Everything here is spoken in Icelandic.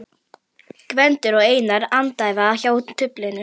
Gvendur og Einar andæfa hjá duflinu.